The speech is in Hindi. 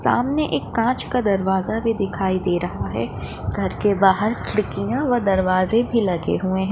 सामने एक काँच का दरवाजा दिखाई दे रहा है घर के बाहर खिड़कियाँ व दरवाजे भी लगे हुए है।